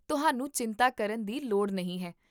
ਤੁਹਾਨੂੰ ਚਿੰਤਾ ਕਰਨ ਦੀ ਲੋੜ ਨਹੀਂ ਹੈ